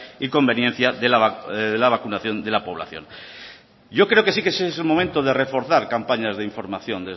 y conveniencia de la vacunación de la población yo creo que sí es el momento de reforzar campañas de información